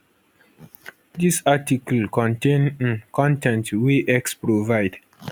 dis article contain um con ten t wey x provide